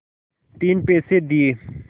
तीन पैसे दिए